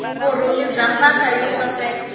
vurhungi bya mpahla yo saseka